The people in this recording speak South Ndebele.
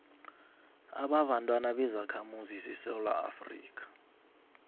ababantwana bezakhamuzi zesewula